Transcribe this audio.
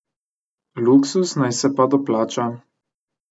Luksuz naj se pa doplača.